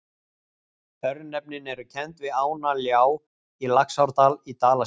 Örnefnin eru kennd við ána Ljá í Laxárdal í Dalasýslu.